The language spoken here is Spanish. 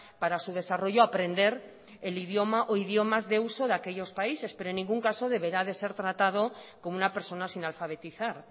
para su desarrollo aprender el idioma o idiomas de uso de aquellos países pero en ningún caso deberá ser tratado como una persona sin alfabetizar